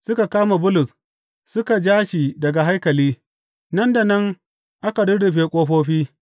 Suka kama Bulus, suka ja shi daga haikali, nan da nan aka rurrufe ƙofofi.